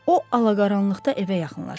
O ala-qaranlıqda evə yaxınlaşıb.